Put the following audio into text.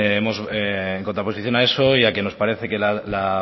hemos en contraposición a eso ya que nos parece que la